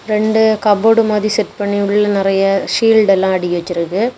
ரெண்டு கப்போர்டு மாதிரி செட் பண்ணி உள்ள நெறைய ஷீல்ட் எல்லா அடுக்கி வெச்சிருக்க.